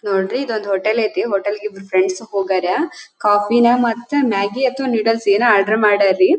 ನೋಡ್ರಿ ಇದೊಂದು ಹೋಟೆಲ ಐತೆ ಹೋಟೆಲ್ಗೆ ಇಬ್ಬರು ಫ್ರೆಂಡ್ಸ್ ಹೂಗಾರ ಕಾಫಿನ ಮತ್ತು ಮ್ಯಾಗಿ ಅಥವಾ ನೂಡಲ್ಸ್ ಏನೋ ಆರ್ಡರ್ ಮಾಡ್ಯಾರಿ.